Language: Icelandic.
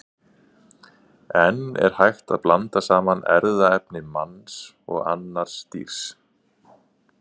En er hægt að blanda saman erfðaefni manns og annars dýrs?